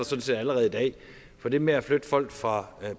set allerede i dag for det med at flytte folk fra